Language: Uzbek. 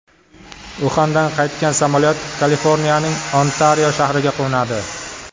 Uxandan qaytgan samolyot Kaliforniyaning Ontario shahriga qo‘nadi.